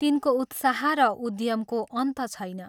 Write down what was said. तिनको उत्साह र उद्यमको अन्त छैन।